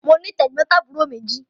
Mo ní tẹ̀gbọ́ntàbúrò méjì.